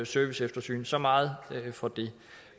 serviceeftersyn så meget for det